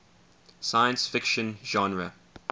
science fiction genre